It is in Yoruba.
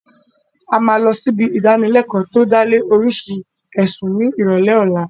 A máa lọ sí ibi ìdánilẹkọ́ tí ó dá lé lórii oríṣi ẹ̀sùn ní ìrọ̀lẹ́ ọ̀la